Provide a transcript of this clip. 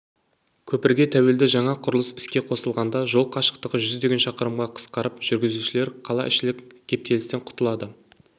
көпірге тәуелді жаңа құрылыс іске қосылғанда жол қашықтығы жүздеген шақырымға қысқарып жүргізушілер қалаішілік кептелістен құтылады